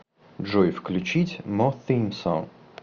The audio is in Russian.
джой включить мо сим сонг